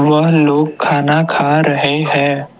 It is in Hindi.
वह लोग खाना खा रहे हैं।